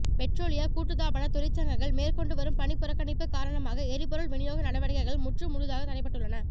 பெற்றோலிய கூட்டுத்தாபன தொழிற்சங்கங்கள் மேற்கொண்டுவரும் பணிப்புறக்கணிப்பு காரணமாக எரிபொருள் விநியோக நடவடிக்கைகள் முற்று முழுதாக தடைப்பட்டுள்ளன